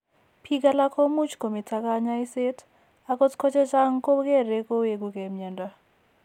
Biik alak ko much ko meto kaany'ayseet, akot ko chechang' ko kere koweku ke mnyando.